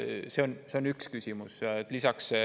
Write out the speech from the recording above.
See on üks küsimus.